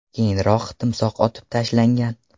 Keyinroq timsoh otib tashlangan.